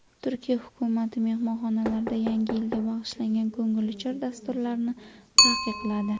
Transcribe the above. Turkiya hukumati mehmonxonalarda Yangi yilga bag‘ishlangan ko‘ngilochar dasturlarni taqiqladi.